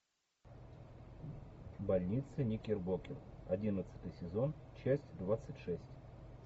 больница никербокер одиннадцатый сезон часть двадцать шесть